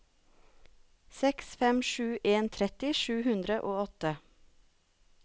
seks fem sju en tretti sju hundre og åtte